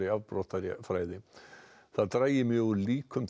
afbrotafræði það dragi mjög úr líkum